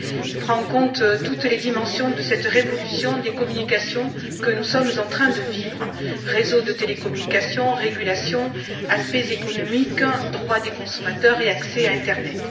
Il prend en compte toutes les dimensions de cette révolution des communications que nous sommes en train de vivre réseaux de télécommunications, régulation, aspects économiques, droit des consommateurs et accès à l'internet.